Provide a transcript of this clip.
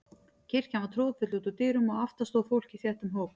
Kirkjan var troðfull út úr dyrum og aftast stóð fólkið í þéttum hóp.